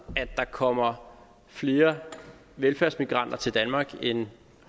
at der kommer flere velfærdsmigranter til danmark end